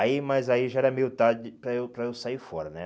Aí, mas aí já era meio tarde para eu para eu sair fora, né?